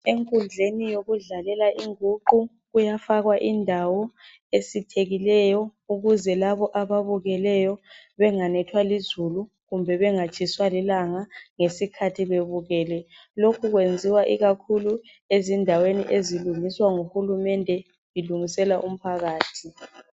Enkundleni yokudlalela inguqu kuyafakwa indawo esithekileyo ukuze labo ababukeleyo benganethwa lizulu kumbe bengatshiswa lilanga ngesikhathi bebukele. Lokhu kwenziwa ikakhulu ezindaweni ezilungiswa nguhulumende elungisela umphakathi.